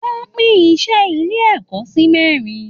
Wọ́n pín iṣẹ́ ilé ẹ̀kọ́ si mẹ́rin